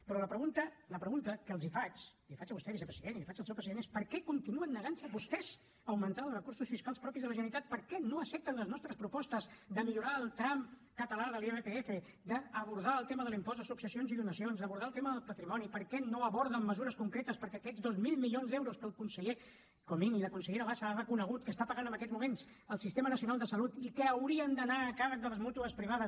però la pregunta la pregunta que els faig i la hi faig a vostè vicepresident i la hi faig al seu president és per què continuen negant se vostès a augmentar els recursos fiscals propis de la generalitat per què no accepten les nostres propostes de millorar el tram català de l’irpf d’abordar el tema de l’impost de successions i donacions d’abordar el tema del patrimoni per què no aborden mesures concretes perquè aquests dos mil milions d’euros que el conseller comín i la consellera bassa han reconegut que està pagant en aquests moments el sistema nacional de salut i que haurien d’anar a càrrec de les mútues privades